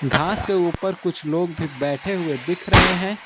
घास के ऊपर कुछ लोग भी बैठे हुए दिख रहे हैं।